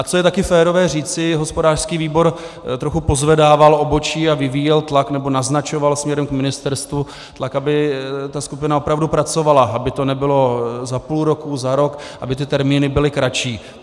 A co je taky férové říci, hospodářský výbor trochu pozvedával obočí a vyvíjel tlak, nebo naznačoval směrem k ministerstvu, tlak, aby ta skupina opravdu pracovala, aby to nebylo za půl roku, za rok, aby ty termíny byly kratší.